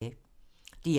DR1